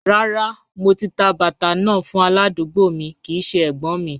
Rárá, mò tà bàtà náà fún aládùgbò mi kìí ṣẹ ẹ̀gbọ́́̀n mi.